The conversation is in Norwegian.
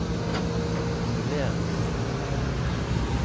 formuleres